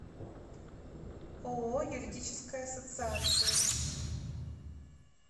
ооо юридическая ассоциация